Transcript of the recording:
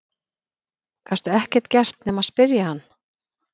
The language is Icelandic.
Gastu ekkert gert nema spyrja hann?